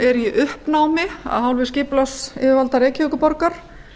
er í uppnámi af hálfu skipulagsyfirvalda reykjavíkurborgar